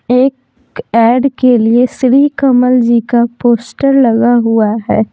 एक ऐड के लिए श्री कमल जी का पोस्टर लगा हुआ है।